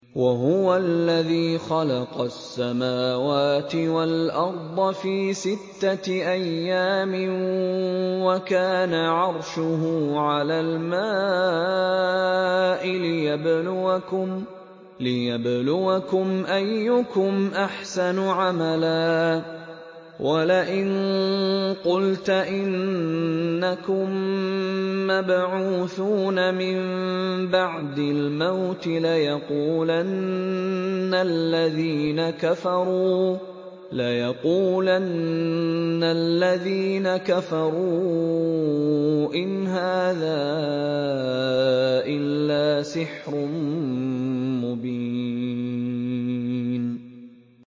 وَهُوَ الَّذِي خَلَقَ السَّمَاوَاتِ وَالْأَرْضَ فِي سِتَّةِ أَيَّامٍ وَكَانَ عَرْشُهُ عَلَى الْمَاءِ لِيَبْلُوَكُمْ أَيُّكُمْ أَحْسَنُ عَمَلًا ۗ وَلَئِن قُلْتَ إِنَّكُم مَّبْعُوثُونَ مِن بَعْدِ الْمَوْتِ لَيَقُولَنَّ الَّذِينَ كَفَرُوا إِنْ هَٰذَا إِلَّا سِحْرٌ مُّبِينٌ